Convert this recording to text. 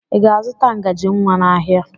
Ị ga-azụta ngaji nwa n'ahịa?